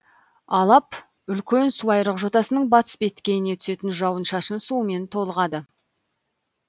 алап үлкен суайрық жотасының батыс беткейіне түсетін жауын шашын суымен толығады